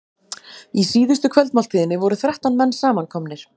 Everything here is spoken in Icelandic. Í síðustu kvöldmáltíðinni voru þrettán menn samankomnir.